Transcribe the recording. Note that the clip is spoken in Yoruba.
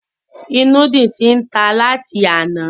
Ìnùdí ti tan láti àná.